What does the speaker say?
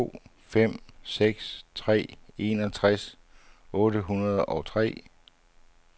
to fem seks tre enogtres otte hundrede og tre